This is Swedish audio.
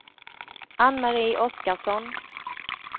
Anne-Marie Oskarsson